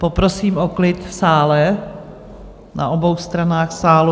Poprosím o klid v sále, na obou stranách sálu.